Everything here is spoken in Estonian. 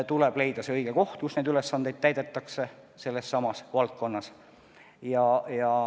Tuleb leida see õige koht, kus neid ülesandeid võiks täita.